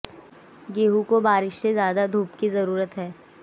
गेंहू को बारिश से ज्यादा धूप की ज्यादा जरूरत है